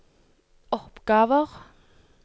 oppgaver